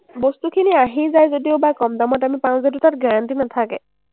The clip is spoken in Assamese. বস্তুখিনি আহি যায় যদিওবা কম দামত আমি পাওঁ যদিও তাত guarantee নাথাকে।